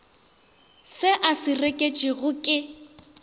se a se reketšwego ke